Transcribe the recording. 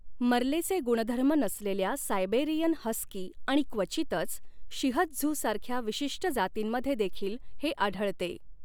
मर्लेचे गुणधर्म नसलेल्या Siberian husky आणि क्वचितच, शिह त्झू सारख्या विशिष्ट जातींमध्ये देखील हे आढळते.